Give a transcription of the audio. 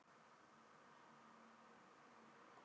Unnur